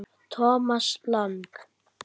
Thomas Lang